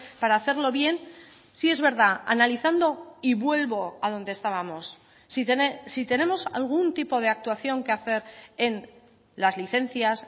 para hacerlo bien sí es verdad analizando y vuelvo a donde estábamos si tenemos algún tipo de actuación que hacer en las licencias